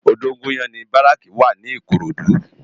Odogunyan ni báráki wá ni Ikorodu